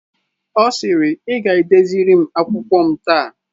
Ọ sịrị "ị ga edeziri m akwụkwọ m taa